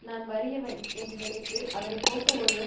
நான் வறியவன் என்று நினைத்து அதனை போக்க ஒருவன்